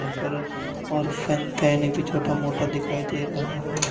यहां पर और फेन फैन भी छोटा मोटा दिखाई दे रहा है।